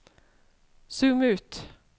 zoom ut